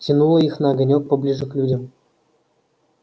тянуло их на огонёк поближе к людям